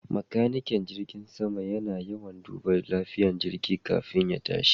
Makanikin jirgin sama na yawan duba lafiyan jirgi kafin ya tashi